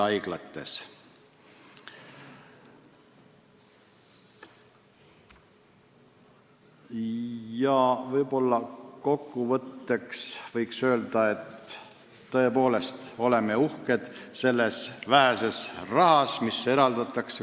Kokkuvõtteks võiks öelda, et tõepoolest, me oleme uhked selle vähese raha kasutamise üle, mis meile eraldatakse.